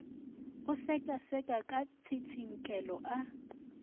go sekaseka ka tsitsinkelo a